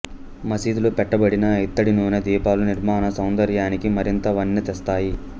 మసీదు లో పెట్టబడిన ఇత్తడి నూనె దీపాలు నిర్మాణ సౌందర్యానికి మరింత వన్నె తెస్తాయి